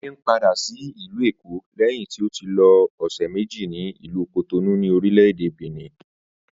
Adé ń padà sí ìlú Èkó lé̩yìn tí ó ti lo ò̩sè̩ méjì ní ìlú Cotonou ní orílè̩-èdè Benin